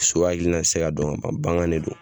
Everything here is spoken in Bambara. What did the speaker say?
So hakilina tɛ se ka dɔn ka ban bagan de do.